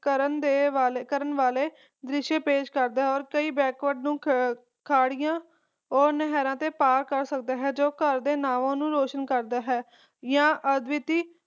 ਕਰਨ ਦੇ ਵਾਲੇ ਕਰਨ ਵਾਲੇ ਦ੍ਰਿਸ਼ ਪੇਸ਼ ਕਰਦਾ ਹੈ ਤੇ ਕਈ backward ਨੂੰ ਖਾਦੀਆਂ ਓਰ ਨਹਿਰਾਂ ਤੇ ਪਾਰ ਕਰ ਸਕਦਾ ਹੈ ਜੋ ਘਰ ਦੇ ਨਾਵਾਂ ਨੂੰ ਰੋਸ਼ਨ ਕਰਦਾ ਹੈ ਆ ਅਦਵੀਤੀ